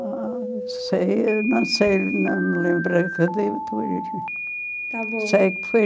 Ah, eu sei, eu não sei, não me lembro a que dia foi. Está bom. Se é que foi